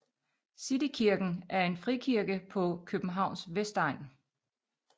City Kirken er en frikirke på Københavns vestegn